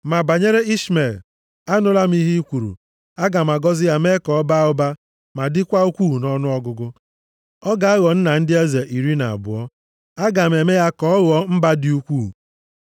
Ma banyere Ishmel, anụla m ihe i kwuru. Aga m agọzi ya mee ya ka ọ baa ụba ma dịkwa ukwuu nʼọnụọgụgụ. Ọ ga-aghọ nna ndị eze iri na abụọ. Aga m eme ya ka ọ ghọọ mba dị ukwuu.